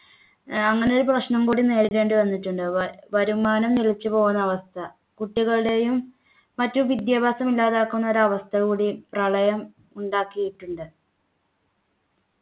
ഏർ അങ്ങനെയൊരു പ്രശ്‌നം കൂടി നേരിടവന്നിട്ടുണ്ട് വ വരുമാനം നിലച്ചു പോകുന്ന അവസ്ഥ കുട്ടികളുടെയും മറ്റും വിദ്യാഭ്യാസമില്ലാതാക്കുന്ന ഒരു അവസ്ഥ കൂടി പ്രളയം ഉണ്ടാക്കിയിട്ടുണ്ട്